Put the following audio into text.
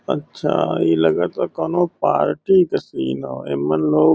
अच्छा ई लगता कौनो पार्टी क सीन ह। एमन लोग --